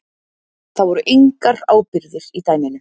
Það voru engar ábyrgðir í dæminu